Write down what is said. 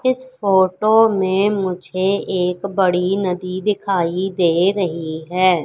इस फोटो में मुझे एक बड़ी नदी दिखाई दे रही है।